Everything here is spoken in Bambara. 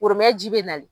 Woromɛji bɛ nali